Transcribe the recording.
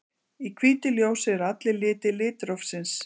Í hvítu ljósi eru allir litir litrófsins.